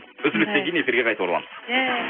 үзілістен кейін эфирге қайта ораламыз